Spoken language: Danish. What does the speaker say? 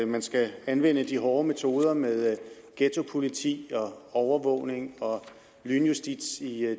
man skal anvende de hårde metoder med ghettopoliti overvågning og lynjustits i